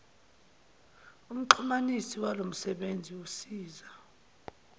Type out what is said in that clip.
umxhumanisi walomsebenzi usiza